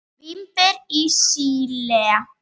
Vínber í Síle.